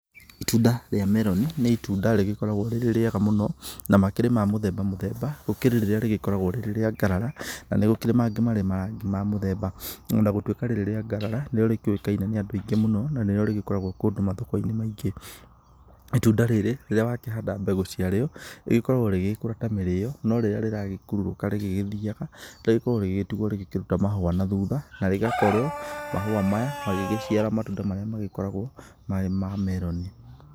Itunda rĩa meroni nĩ itunda rĩgĩkoragwo rĩrĩ rĩega mũno na makĩrĩ ma mũthemba mũthemba. Gũkirĩ rĩrĩa rĩgĩkoragwo rĩrĩ rĩa ngarara, na nĩ gũkĩrĩ mangĩ marĩ ma mũthemba. Ona gũtuika rĩrĩ rĩa ngarara nĩrĩo rĩkĩũĩkaine nĩ andũ aingĩ mũno na nĩrĩo rĩgĩkoragwo kũndũ mathoko-inĩ maingĩ. Itunda rĩrĩ rĩrĩa wakĩhanda mbegũ ciarĩo rĩgĩkĩoragwo rĩgĩkũra ta mĩrĩo, no rĩrĩa rĩragĩkurũrũka rĩgĩgĩthiaga, rĩkoragwo rĩgĩgĩtigwo rĩgĩkĩruta mahũa na thutha na rĩgakorwo mahũa maya magĩgĩciara matunda marĩa magĩkoragwo marĩ ma meroni.